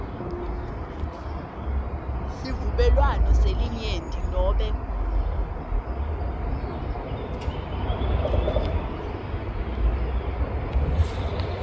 sivumelwano selinyenti nobe